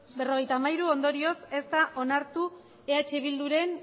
bai hogei ez berrogeita hamairu ondorioz ez da onartu eh bilduren